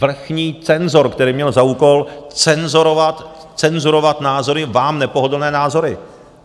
Vrchní cenzor, který měl za úkol cenzurovat názory, vám nepohodlné názory!